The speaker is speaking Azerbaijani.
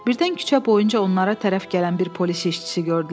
Birdən küçə boyunca onlara tərəf gələn bir polis işçisi gördülər.